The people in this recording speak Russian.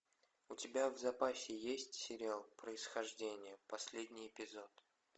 у тебя в запасе есть сериал происхождение последний эпизод